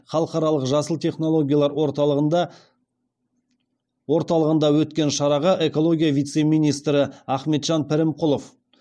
халықаралық жасыл технологиялар орталығында өткен шараға экология вице министрі ахметжан пірімқұлов